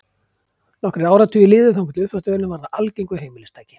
Nokkrir áratugir liðu þangað til uppþvottavélin varð að algengu heimilistæki.